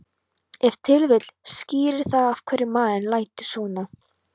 Ef til vill skýrir það af hverju maðurinn lætur svona.